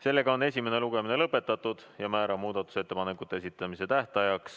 Sellega on esimene lugemine lõpetatud ja määran muudatusettepanekute esitamise tähtajaks